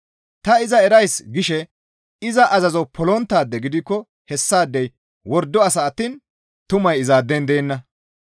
«Ta iza erays» gishe iza azazo polonttaade gidikko hessaadey wordo asa attiin tumay izaaden deenna.